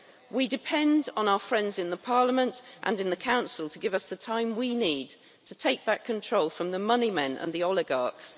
We depend on our friends in Parliament, and in the Council, to give us the time we need to take back control from the moneymen and the oligarchs.